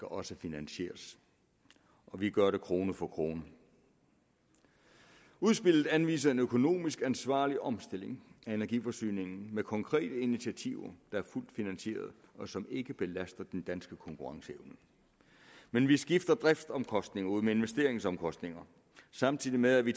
også finansieres og vi gør det krone for krone udspillet anviser en økonomisk ansvarlig omstilling af energiforsyningen med konkrete initiativer der er fuldt finansierede og som ikke belaster den danske konkurrenceevne men vi skifter driftsomkostninger ud med investeringsomkostninger samtidig med at vi